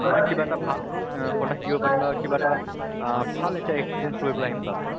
কিবা এটা ভাল আহ কথা শিকিব পাৰিলো হয়, কিবা এটা আহ ভাল এটা experience লৈ পালে আহিম তাৰ পৰা।